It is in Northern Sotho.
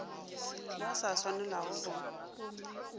mo go sa swanelago go